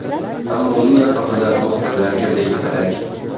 Ammo uning atrofida muxbirlar girdikapalak.